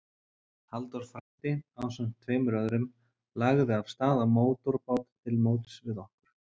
Halldór frændi, ásamt tveim öðrum, lagði af stað á mótorbát til móts við okkur.